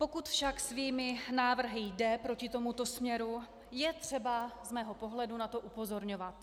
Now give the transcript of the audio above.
Pokud však svými návrhy jde proti tomuto směru, je třeba z mého pohledu na to upozorňovat.